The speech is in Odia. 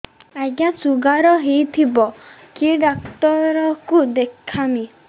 ଆଜ୍ଞା ଶୁଗାର ହେଇଥିବ କେ ଡାକ୍ତର କୁ ଦେଖାମି